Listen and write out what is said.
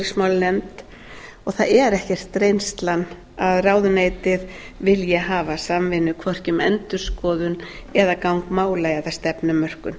utanríkismálanefnd og það er ekkert reynslan að ráðuneytið vilji hafa samvinnu hvorki um endurskoðun eða gang mála eða stefnumörkun